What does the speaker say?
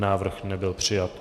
Návrh nebyl přijat.